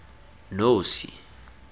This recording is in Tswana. nosi